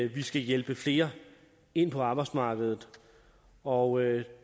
vi skal hjælpe flere ind på arbejdsmarkedet og